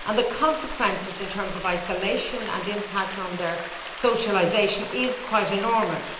The consequences in terms of isolation and the impact on their socialisation are quite enormous.